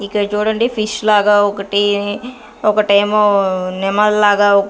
ఇక్కడ చూడండి ఫిష్ లాగా ఒకటి ఒకటేమో నెమల్లాగా.